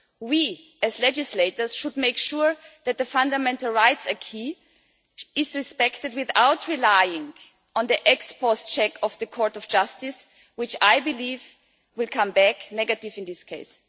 We, as legislators, should make sure that the fundamental rights acquis is respected without relying on the ex-post check of the Court of Justice, which I believe will come back negative in this case.